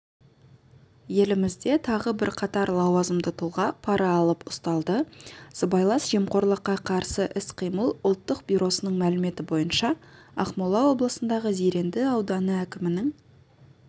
елімізде тағы бірқатар лауазымды тұлға пара алып ұсталды сыбайлас жемқорлыққа қарсы іс-қимыл ұлттық бюросының мәліметі бойынша ақмола облысындағы зеренді ауданы әкімінің